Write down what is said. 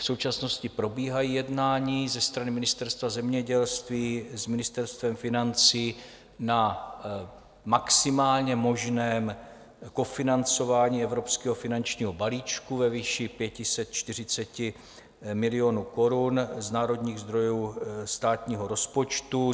V současnosti probíhají jednání ze strany Ministerstva zemědělství s Ministerstvem financí na maximálně možném kofinancování evropského finančního balíčku ve výši 540 milionů korun z národních zdrojů státního rozpočtu.